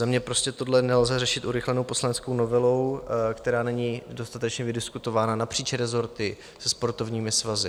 Za mě prostě tohle nelze řešit urychlenou poslaneckou novelou, která není dostatečně vydiskutována napříč rezorty se sportovními svazy.